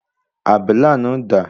Àbélà náà dà?